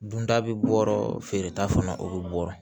Dunta bɛ bɔ yɔrɔ feereta fana o bɛ bɔ